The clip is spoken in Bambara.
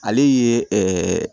Ale ye